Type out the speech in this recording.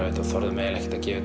þetta og þorðum ekki að gefa